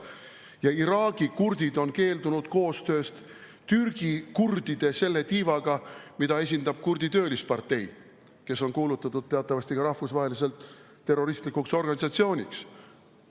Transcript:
Ja Iraagi kurdid on keeldunud koostööst Türgi kurdide selle tiivaga, mida esindab Kurdistani Töölispartei, kes on teatavasti rahvusvaheliselt kuulutatud terroristlikuks organisatsiooniks.